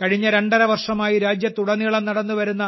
കഴിഞ്ഞ രണ്ടര വർഷമായി രാജ്യത്തുടനീളം നടന്നുവരുന്ന